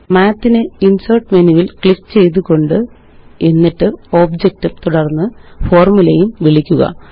math നെ insert മെനുവില് click ചെയ്തുകൊണ്ട് എന്നിട്ട് ഒബ്ജക്ട് ഉം തുടര്ന്ന് ഫോര്മുലയും വിളിക്കുക